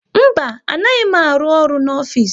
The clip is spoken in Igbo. Mba, anaghị m aru ọrụ n'ofisi